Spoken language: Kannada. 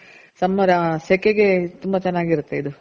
summer ಆ ಸೆಕೆಗೆ ತುಂಬ ಚೆನಾಗಿರುತ್ತೆ ಇದು ಸಾರು.